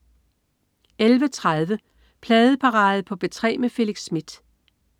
11.30 Pladeparade på P3 med Felix Smith